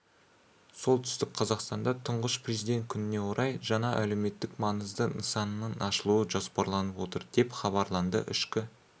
солтүстік қазақстанда тұңғыш президент күніне орай жаңа әлеуметтік маңызды нысанның ашылуы жоспарланып отыр деп хабарлады ішкі